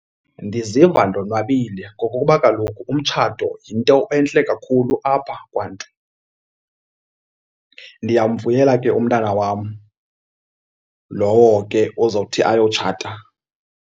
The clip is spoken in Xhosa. Ndiziva ndonwabile ngokokuba kaloku umtshato yinto entle kakhulu apha kwaNtu. Ndiyamvuyela ke umntana wam lowo ke ozawuthi ayotshata.